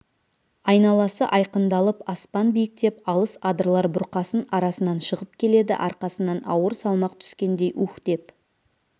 айналасы айқындалып аспан биіктеп алыс адырлар бұрқасын арасынан шығып келеді арқасынан ауыр салмақ түскендей уһ деп